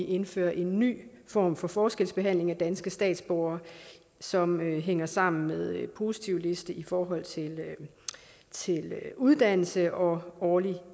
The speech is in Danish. indføres en ny form for forskelsbehandling af danske statsborgere som hænger sammen med positivlisten i forhold til uddannelse og årlig